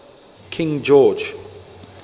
king george